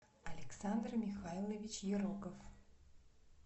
александр михайлович ероков